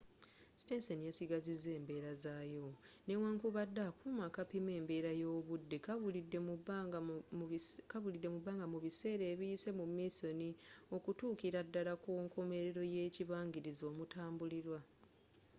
sitenseni yasigazizza embeera zayo newankubadde akuuma akapima embeera y'obudde kabulidde mu bbanga mu biseera ebiyise mu minsoni okutuukira ddala ku nkomerero y'ekibangirizi omutambulirwa